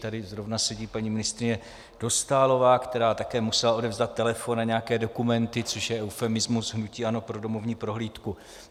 Tady zrovna sedí paní ministryně Dostálová, která také musela odevzdat telefon a nějaké dokumenty, což je eufemismus hnutí ANO pro domovní prohlídku.